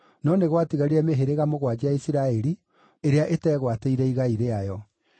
no nĩ gwatigarire mĩhĩrĩga mũgwanja ya Isiraeli ĩrĩa ĩtegwatĩire igai rĩayo.